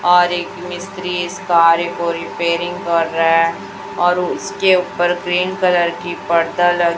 और एक मिस्त्री इस कार्य को रिपेयरिंग कर रहा है और उसके ऊपर ग्रीन कलर की पर्दा ल--